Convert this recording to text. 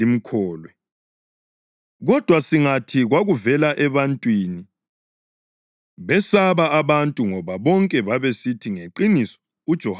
Kodwa singathi, ‘Kwakuvela ebantwini’ …” (Besaba abantu ngoba bonke babesithi ngeqiniso uJohane wayengumphrofethi.)